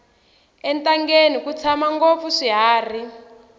entangeni ku tshama ngopfu swiharhi